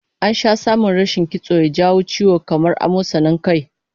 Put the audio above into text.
An sha samun rashin kitso na jawo ciwo kamar amosanin kai